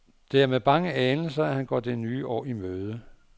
Det er med bange anelser, han går det nye år i møde.